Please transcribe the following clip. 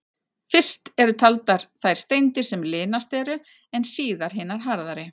Fyrst eru taldar þær steindir sem linastar eru, en síðast hinar harðari.